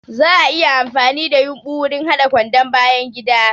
Za'a iya amfani da yumbu wurin haɗa kwandon bayangida.